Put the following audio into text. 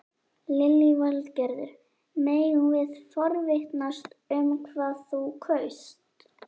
Lillý Valgerður: Megum við forvitnast um hvað þú kaust?